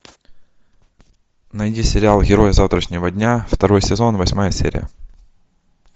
найди сериал герои завтрашнего дня второй сезон восьмая серия